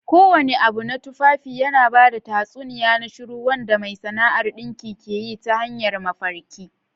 Kowane abu na tufafi yana ba da tatsuniya na shiru wanda mai sana'ar dinkin ke yi ta hanyar mafarki.